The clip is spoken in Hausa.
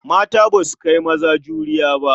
Mata ba su kai maza juriya ba.